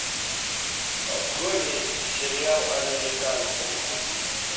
открой мне сериал американцы